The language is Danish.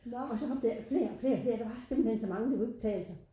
Og så kom der flere og flere og flere der var simpelthen så mange det kunne ikke betale sig